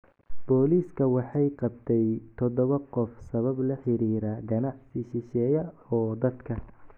Booliska waxay qabtay toddoba qof sabab la xiriira ganacsi shisheeye oo dadka.